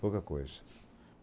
Pouca coisa.